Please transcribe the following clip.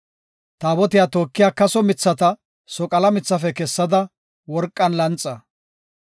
Taabotiya tookiya kaso mithata soqala mithafe kessada worqan lanxa.